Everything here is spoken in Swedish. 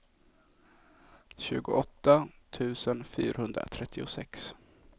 tjugoåtta tusen fyrahundratrettiosex